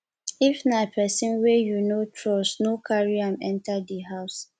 if na person wey you no trust no carry am enter di house